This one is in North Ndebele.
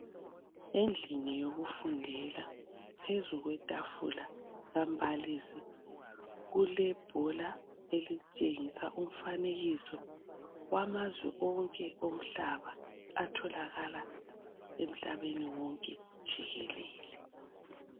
Endlini yokufundela phezu kwetafula kambalisi kulebhola elitshengisa umfanekiso wamazwe wonke womhlaba atholakala emhlabeni wonke jikelele.